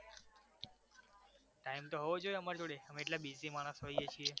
time તો હોવો જોઈ અમારી જોડે અમે એટલા busy માણસો હોઈએ છીએ